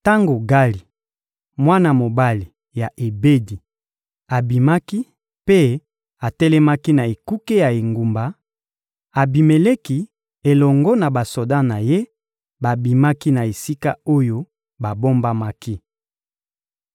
Tango Gali, mwana mobali ya Ebedi, abimaki mpe atelemaki na ekuke ya engumba, Abimeleki elongo na basoda na ye babimaki na esika oyo babombamaki.